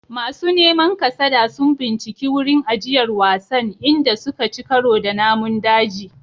Masu neman kasada sun binciki wurin ajiyar wasan, inda suka ci karo da namun daji.